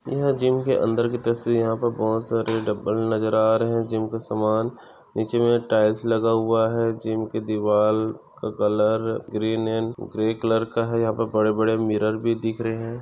यह जिम के अंदर की तस्वीर यहा पर बहुत सारे डंबल नजर आ रहे है जिम का सामान नीचे मैं टाईल्स लगा हुआ है जिम के दीवार का colour green and grey colour का है यहा पर बड़े बड़े मिरर भी दिख रहे है।